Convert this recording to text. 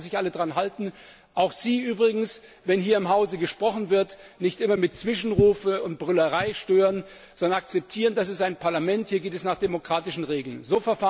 Und dann sollten sich alle daran halten, auch Sie übrigens, und wenn hier im Hause gesprochen wird nicht immer mit Zwischenrufen und Brüllerei stören, sondern akzeptieren, dass dies ein Parlament ist. Hier geht es nach demokratischen Regeln zu.